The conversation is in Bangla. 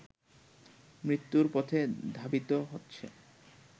মৃত্যুর পথে ধাবিত হচ্ছে